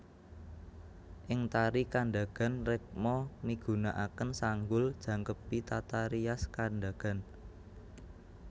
Ing tari Kandagan rekma migunakaken sanggul jangkepi tata rias Kandagan